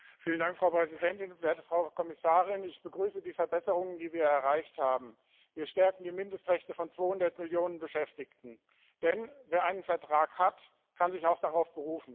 Frau Präsidentin, werte Frau Kommissarin! Ich begrüße die Verbesserungen, die wir erreicht haben. Wir stärken die Mindestrechte von 200 Millionen Beschäftigten, denn wer einen Vertrag hat, kann sich auch darauf berufen.